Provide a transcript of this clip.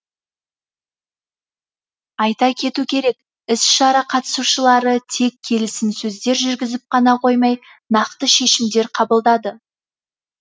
айта кету керек іс шара қатысушылары тек келісімсөздер жүргізіп қана қоймай нақты шешімдер қабылдады